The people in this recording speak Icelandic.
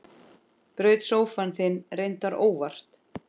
Braut sófann þinn, reyndar óvart.